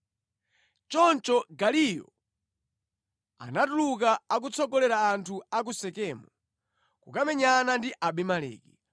Choncho Gaaliyo anatuluka akutsogolera anthu a ku Sekemu kukamenyana ndi Abimeleki.